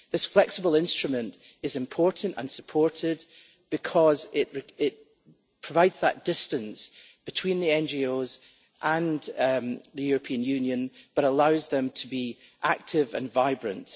This flexible instrument is important, and supported, because it provides that distance between the NGOs and the European Union, but allows them to be active and vibrant.